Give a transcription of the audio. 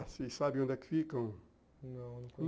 Vocês sabem onde é que fica? não.